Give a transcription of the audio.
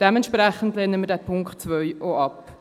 Dementsprechend lehnen wir diesen Punkt 2 auch ab.